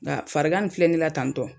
Nka farigan min filɛ ne la tan tɔ